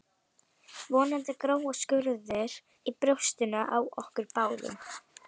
Vonandi gróa skurðir í brjóstinu á okkur báðum